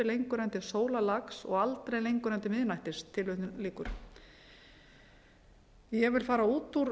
lengur uppi en til sólarlags og aldrei lengur en til miðnættis ég vil fara út úr